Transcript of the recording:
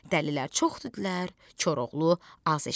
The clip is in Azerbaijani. Dəlilər çox dedilər, Koroğlu az eşitdi.